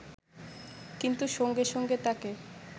কিন্তু সঙ্গে সঙ্গে তাঁকে